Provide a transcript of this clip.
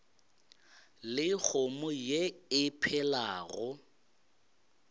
le kgomo ye e phelago